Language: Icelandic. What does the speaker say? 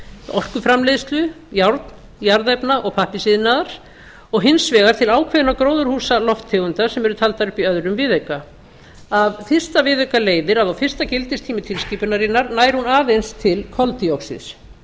orkuframleiðslu járn jarðefna og pappírsiðnaðar og hins vegar til ákveðinna gróðurhúsalofttegunda sem eru taldar upp í öðrum viðauka af fyrsta viðauka leiðir að á fyrsta gildistíma tilskipunarinnar nær hún aðeins til koltvíoxíðs